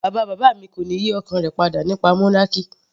Bàbá bàbá mi kò ní yí ọkàn rẹ̀ padà nípa monarchy.